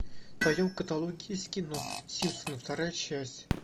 в твоем каталоге есть кино симпсоны вторая часть